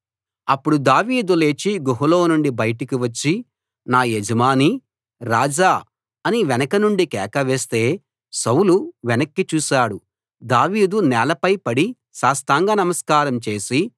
అప్పుడు దావీదు లేచి గుహలో నుండి బయటికి వచ్చి నా యజమానీ రాజా అని వెనుక నుండి కేకవేస్తే సౌలు వెనక్కి చూశాడు దావీదు నేలపై పడి సాష్టాంగ నమస్కారం చేసి